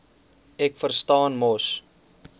ek verstaan mos